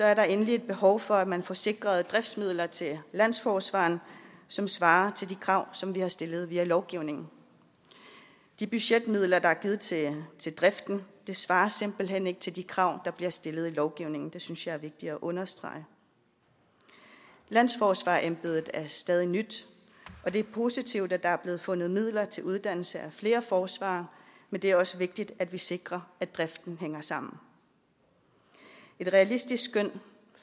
er der endelig behov for at man får sikret driftsmidler til landsforsvareren som svarer til de krav som vi har stillet via lovgivningen de budgetmidler der er givet til driften svarer simpelt hen ikke til de krav der bliver stillet i lovgivningen det synes jeg er vigtigt at understrege landsforsvarerembedet er stadig nyt og det er positivt at der er blevet fundet midler til uddannelse af flere forsvarere men det er også vigtigt at vi sikrer at driften hænger sammen et realistisk skøn